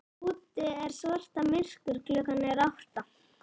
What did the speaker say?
Úti er svarta myrkur, klukkan er átta.